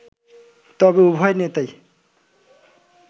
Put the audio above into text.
তবে উভয় নেতাই